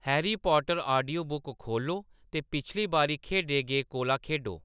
Harry Potter audiobook खोह्‌ल्लो ते पिछली बारी खेढे गे कोला खेढो